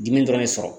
Dimi dɔrɔn de sɔrɔ